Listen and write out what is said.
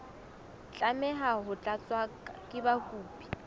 tlameha ho tlatswa ke mokopi